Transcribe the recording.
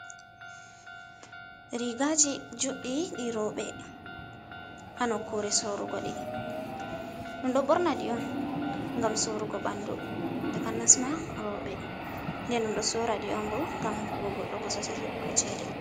Rigaji juddi di roubé, ha nokkure sorrugo deh. Dum do borna di on gam surugo bandú, takanasma roubé, den dum do sora di on gam hokku go goddo bossesel hebu go chede.